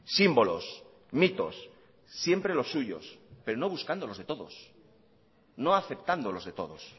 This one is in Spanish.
símbolos mitos siempre los suyos pero no buscando los de todos no aceptando los de todos